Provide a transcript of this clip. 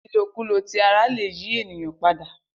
Ilokulo ti ara le yi eniyan pada.